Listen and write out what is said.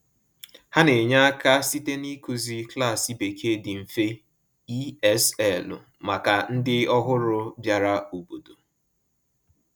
Ha na-enye aka site n’ịkụzi klaasị Bekee dị mfe (ESL) maka ndị ọhụrụ bịara obodo.